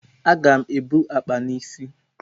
Aga m ebu akpa n'isi.